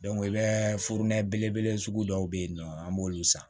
i bɛ furnɛ belebele sugu dɔw bɛ yen nɔ an b'olu san